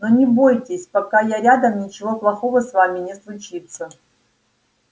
но не бойтесь пока я рядом ничего плохого с вами не случится